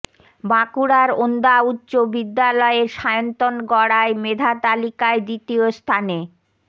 বাঁকুড়ার ওন্দা উচ্চ বিদ্যালয়ের সায়ন্তন গড়াই মেধাতালিকায় দ্বিতীয় স্থানে